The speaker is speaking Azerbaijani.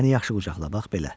Məni yaxşı qucaqla, bax belə.